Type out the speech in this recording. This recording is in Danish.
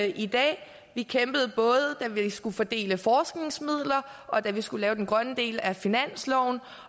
i dag vi kæmpede både da vi skulle fordele forskningsmidler og da vi skulle lave den grønne del af finansloven